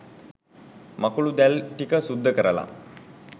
මකුළු දැල් ටික සුද්ද කරලා